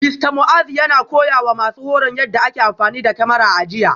Mista Muazu yana koyawa masu horon yadda ake amfani da kyamara a jiya